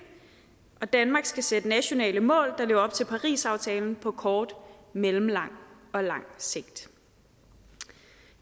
danmark skal sætte nationale mål der lever op til parisaftalen på kort mellemlang og lang sigt